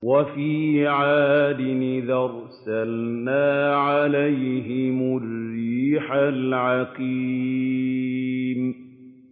وَفِي عَادٍ إِذْ أَرْسَلْنَا عَلَيْهِمُ الرِّيحَ الْعَقِيمَ